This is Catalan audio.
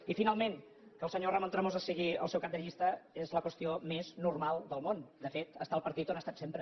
i finalment que el senyor ramon tremosa sigui el seu cap de llista és la qüestió més normal del món de fet és al partit on ha estat sempre